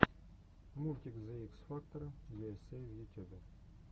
мультик зе икс фактора ю эс эй в ютюбе